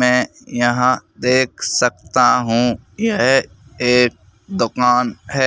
मैं यहां देख सकता हूं यह एक दुकान है।